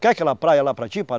Quer aquela praia lá para ti, Pará?